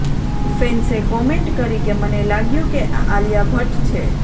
ફેન્સે comment કરી કે મને લાગ્યું કે આ આલિયા ભટ્ટ છે